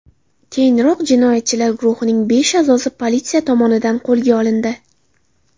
Keyinroq jinoyatchilar guruhining besh a’zosi politsiya tomonidan qo‘lga olindi.